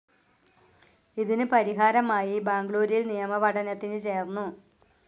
ഇതിനു പരിഹാരമായി ബാംഗ്ലൂരിൽ നിയമ പഠനത്തിനു ചേർന്നു.